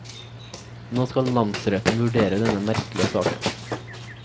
Nå skal namsretten vurdere denne merkelige saken.